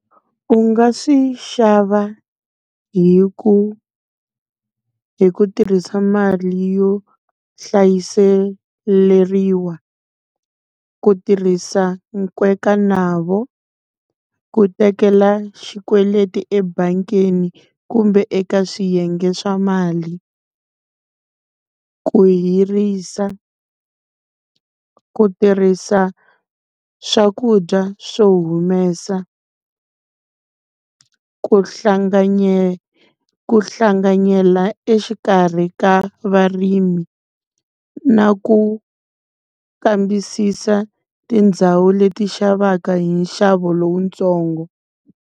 U nga swi xava hi ku, hi ku tirhisa mali yo hlayiseleriwa. Ku tirhisa nkwekanavo, ku tekela xikweleti ebangini kumbe eka swiyenge swa mali, ku hirisa, ku tirhisa swakudya swo humesa. Ku ku hlanganyela exikarhi ka varimi. Na ku kambisisa tindhawu leti xavaka hi nxavo lowuntsongo.